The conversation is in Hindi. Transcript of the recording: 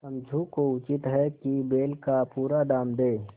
समझू को उचित है कि बैल का पूरा दाम दें